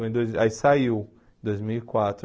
Foi em dois aí saiu em dois mil e quatro.